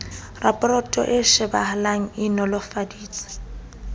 raporoto e shebahala e nolofetse